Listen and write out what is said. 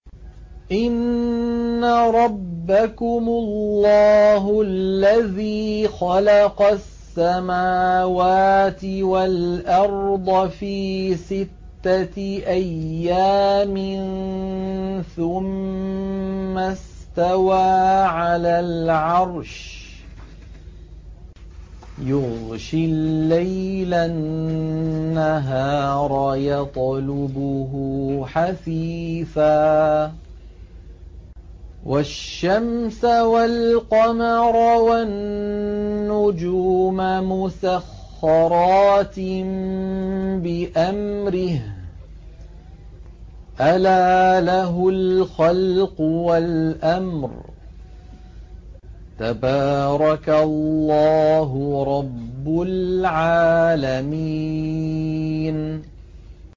إِنَّ رَبَّكُمُ اللَّهُ الَّذِي خَلَقَ السَّمَاوَاتِ وَالْأَرْضَ فِي سِتَّةِ أَيَّامٍ ثُمَّ اسْتَوَىٰ عَلَى الْعَرْشِ يُغْشِي اللَّيْلَ النَّهَارَ يَطْلُبُهُ حَثِيثًا وَالشَّمْسَ وَالْقَمَرَ وَالنُّجُومَ مُسَخَّرَاتٍ بِأَمْرِهِ ۗ أَلَا لَهُ الْخَلْقُ وَالْأَمْرُ ۗ تَبَارَكَ اللَّهُ رَبُّ الْعَالَمِينَ